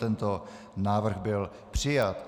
Tento návrh byl přijat.